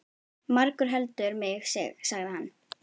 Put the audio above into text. Margur heldur mig sig, sagði hann.